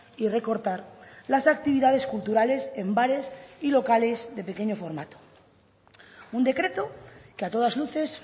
y recortar las actividades culturales en bares y locales de pequeño formato un decreto que a todas luces